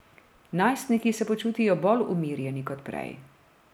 Najstniki se počutijo bolj umirjeni kot prej.